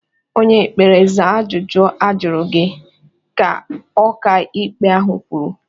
"Onye ekpere, zaa ajụjụ ajụrụ gị!" ka ọka ikpe ahụ kwuru.